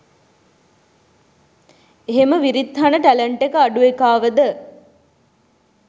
එහෙම විරිත්හන ටැලන්ට් එක අඩු එකාවද